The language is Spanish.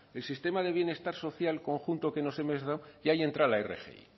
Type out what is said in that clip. el sistema de bienestar social conjunto que nos hemos dado y ahí entra la rgi